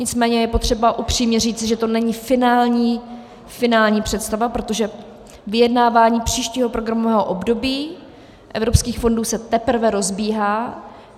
Nicméně je potřeba upřímně říci, že to není finální představa, protože vyjednávání příštího programového období evropských fondů se teprve rozbíhá.